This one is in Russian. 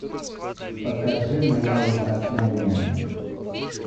покажи моя ужасная няня